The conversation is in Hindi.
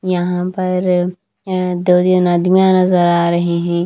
यहां पर दो तीन आदमियां नजर आ रहे हैं।